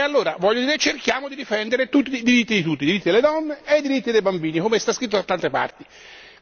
E allora, voglio dire, cerchiamo di difendere i diritti di tutti, i diritti delle donne e i diritti dei bambini, come sta scritto da tante parti.